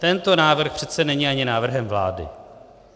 Tento návrh přece není ani návrhem vlády.